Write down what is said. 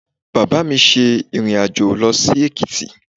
Bàbá mi ṣe ìrìn-àjò lọ sí Èkìtì